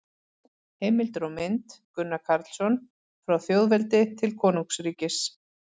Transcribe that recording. Heimildir og mynd: Gunnar Karlsson: Frá þjóðveldi til konungsríkis